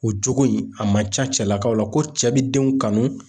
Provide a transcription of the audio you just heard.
O jogo in a man ca cɛlakaw la ko cɛ be denw kanu